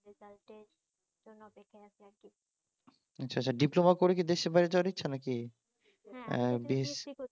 আচ্ছা আচ্ছা ডিপ্লোমা করে কি দেশের বাইরে যাওয়ার ইচ্ছা নাকি